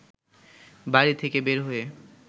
বাড়ি থেকে বের হয়ে